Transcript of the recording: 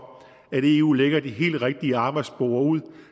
at eu lægger de helt rigtige arbejdsspor ud